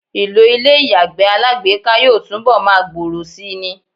Ìlò ilé ìyàgbẹ́ alágbèéká yóò túnbọl máa gbòòrò síi ni.